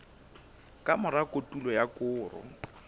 ka mora kotulo ya koro